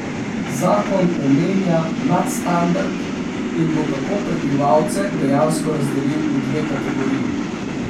Zakon omenja nadstandard in bo tako prebivalce dejansko razdelil v dve kategoriji.